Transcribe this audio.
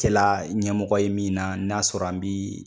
Tɛla la ɲɛmɔgɔ ye min na n'a sɔrɔ an be